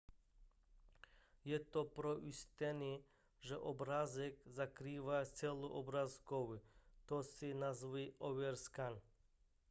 je to pro ujištění že obrázek zakrývá celou obrazovku to se nazývá overscan